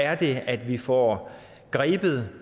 er det at vi får grebet